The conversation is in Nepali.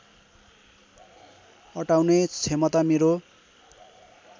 अटाउने क्षमता मेरो